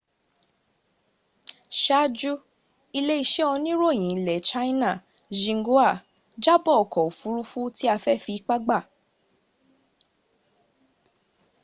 sáájú ilé-iṣẹ́ oníròyìn ilẹ̀ china xinhua jábọ̀ ọkọ̀ òfuurufú tí a fẹ́ fi ipá gbà